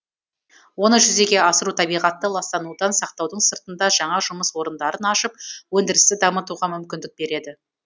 оны жүзеге асыру табиғатты ластанудан сақтаудың сыртында жаңа жұмыс орындарын ашып өндірісті дамытуға мүмкіндік береді